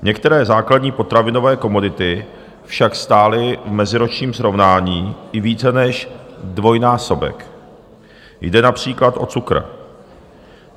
Některé základní potravinové komodity však stály v meziročním srovnání i více než dvojnásobek, jde například o cukr.